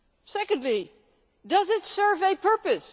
Secondly, does it serve a purpose?